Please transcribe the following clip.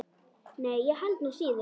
Nei, ég held nú síður.